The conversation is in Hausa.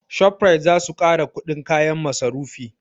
Shoprite zasu ƙara kuɗin kayan masarufi